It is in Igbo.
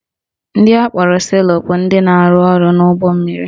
Ndị akpọrọ sailor bụ ndị na-arụ ọrụ n'ụgbọ mmiri